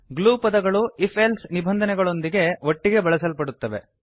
glue ಪದಗಳು if else ನಿಬಂಧನೆಗಳೊಂದಿಗೆ ಒಟ್ಟಿಗೆ ಬಳಸಲ್ಪಡುತ್ತವೆ